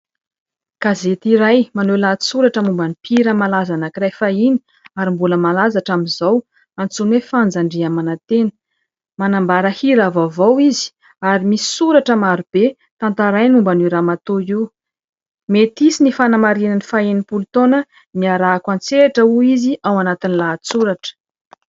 Gazety iray maneho lahatsoratra momba ny mpihira malaza anankiray fahiny ary mbola malaza hatramin'izao antsoina hoe Fanja Andriamanantena. Manambara hira vaovao izy ary misy soratra marobe tantarainy momba an'io ramatoa io. Mety hisy ny fanamarihana ny faha enimpolo taona niarahako an-tsehatra hoy izy ao anatin'ny lahatsoratra.